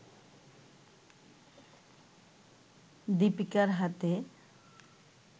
দিপিকার হাতে